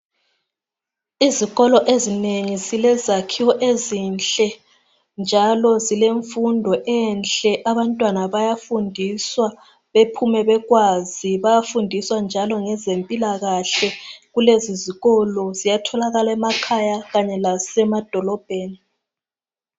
Izikolo ezinengi zile zakhiwo ezinhle njalo zilemfundo enhle . Abantwana bayafundiswa bephume bekwazi . Bayafundiswa njalo ngezempilakahle .Lezizikolo ziyatholakala emakhaya kanye lasemadolobheni